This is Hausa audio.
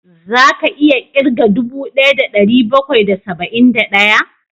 Za ka iya ƙirga dubu ɗaya da ɗari bakwai da saba'in da ɗaya?